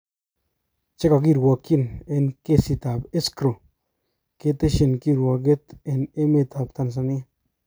Chekokirwokyin eng kesit tab Escrow keteshi kirwoget eng emet tab Tanzania